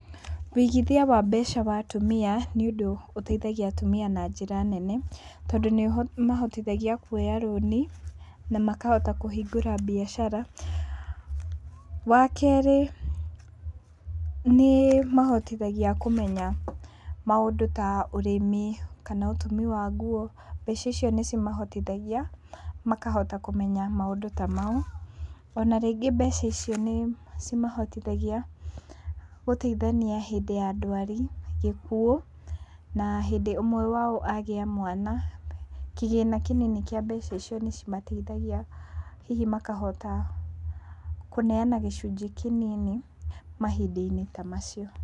Wĩigithia wa mbeca wa atumia, nĩ ũndũ ũteithagia atumia na njĩra nene, tondũ nĩ ũmahotithagia kuoya rũni, na makahota kũhingũra biacara. Wakerĩ nĩ ĩmahotithagia kũmenya maũndũ ta ũrĩmi, kana ũtumi wa nguo, mbeca icio nĩ cimahotithagia makahota kũmenya maũndũ ta mau. Ona rĩngĩ mbeca icio nĩ cimahotithagia, gũteithania hĩndĩ ya ndwari, gĩkuũ na hĩndĩ ũmwe wao agĩa mwana. Kĩgĩna kĩnini kĩa mbeca icio nĩ cimateithagia hihi makahota kũneana gĩcunjĩ kĩnini mahinda-inĩ ta macio.